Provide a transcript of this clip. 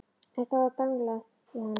En þá var danglað í hann.